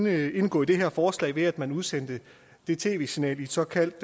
at indgå i det her forslag ved at man udsendte det tv signal i et såkaldt